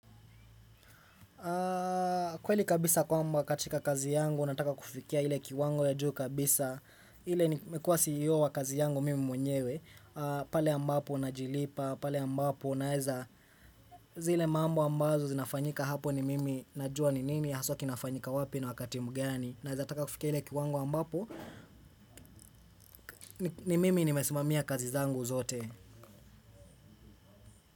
Kweli kabisa kwamba katika kazi yangu nataka kufikia ile kiwango ya juu kabisa ile nimekuwa ceo wa kazi yangu mimi mwenyewe pale ambapo najilipa pale ambapo naeza zile mambo ambazo zinafanyika hapo ni mimi najua ni nini haswa kinafanyika wapi na wakati mgani naeza taka kufikia ile kiwango ambapo ni mimi nimesimamia kazi zangu zote.